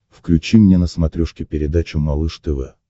включи мне на смотрешке передачу малыш тв